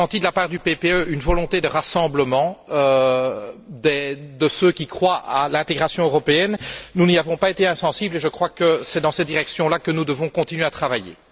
J'ai senti de la part du PPE une volonté de rassemblement de ceux qui croient à l'intégration européenne. Nous n'y avons pas été insensibles et c'est dans cette direction là que nous devons continuer à travailler.